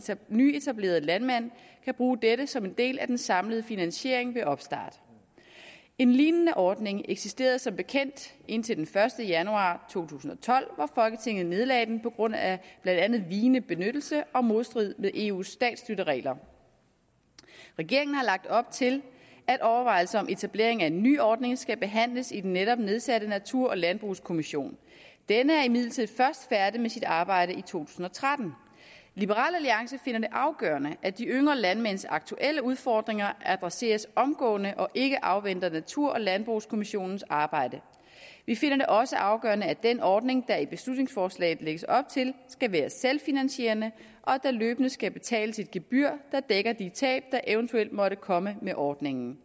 den nyetablerede landmand kan bruge dette som en del af den samlede finansiering ved opstart en lignende ordning eksisterede som bekendt indtil den første januar to tusind og tolv hvor folketinget nedlagde den på grund af blandt andet vigende benyttelse og modstrid med eus statsstøtteregler regeringen har lagt op til at overvejelser om etablering af en nyordning skal behandles i den netop nedsatte natur og landbrugskommission denne er imidlertid først færdig med sit arbejde i to tusind og tretten liberal alliance finder det afgørende at de yngre landmænds aktuelle udfordringer adresseres omgående og ikke afventer natur og landbrugskommissionens arbejde vi finder det også afgørende at den ordning der i beslutningsforslaget lægges op til skal være selvfinansierende og at der løbende skal betales et gebyr der dækker de tab der eventuelt måtte komme med ordningen